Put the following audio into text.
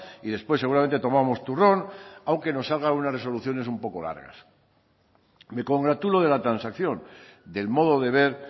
y después seguramente tomamos turrón aunque nos salgan unas resoluciones un poco largas me congratulo de la transacción del modo de ver